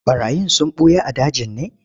Ɓarayin sun ɓuya a dajin ne?